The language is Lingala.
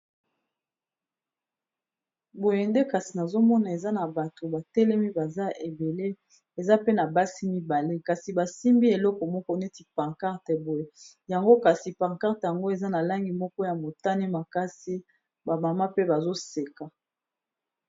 boyende kasi nazomona eza na bato batelemi baza ebele eza pe na basi mibale kasi basimbi eloko moko neti pancarte boye yango kasi pancart yango eza na langi moko ya motane makasi bamama pe bazoseka